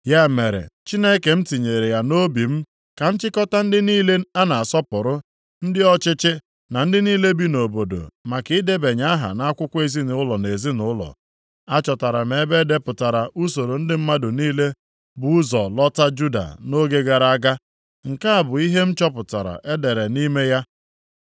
Ya mere Chineke m tinyere ya nʼobi m ka m chịkọta ndị niile a na-asọpụrụ, ndị ọchịchị, na ndị niile bi nʼobodo, maka idebanye aha nʼakwụkwọ ezinaụlọ nʼezinaụlọ. Achọtara m ebe e depụtara usoro ndị mmadụ niile bụ ụzọ lọta Juda nʼoge gara aga. Nke a bụ ihe m chọpụtara edere nʼime ya: